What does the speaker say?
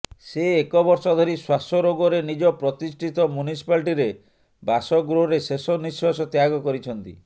ସେ ଏକବର୍ଷ ଧରି ଶ୍ୱାସ ରୋଗରେ ନିଜ ପ୍ରତିଷ୍ଠିତ ମ୍ୟୁନିସିପାଲଟିରେ ବାସଗୃହରେ ଶେଷ ନିଶ୍ୱାସ ତ୍ୟାଗ କରିଛନ୍ତି